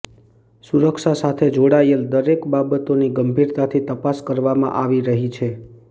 સુરક્ષા સાથે જોડાયેલ દરેક બાબતોની ગંભીરતાથી તપાસ કરવામાં આવી રહી છે